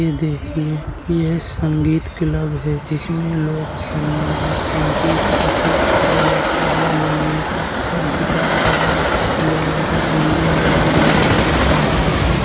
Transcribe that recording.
ये देखिए ये संगीत क्लब है जिसमे लोग संग-संगीत करके ढोलक तबला मंजीरा और गिटार बजा कर लोगो का एन्जॉय और मनोरंजन करते हैं।